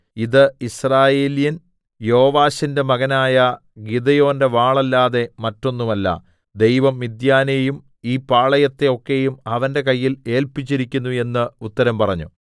ഇത് യിസ്രയേല്യൻ യോവാശിന്റെ മകനായ ഗിദെയോന്റെ വാളല്ലാതെ മറ്റൊന്നുമല്ല ദൈവം മിദ്യാനെയും ഈ പാളയത്തെ ഒക്കെയും അവന്റെ കയ്യിൽ ഏല്പിച്ചിരിക്കുന്നു എന്ന് ഉത്തരം പറഞ്ഞു